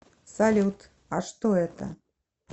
салют а что это